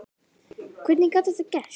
Hvernig gat þetta gerst?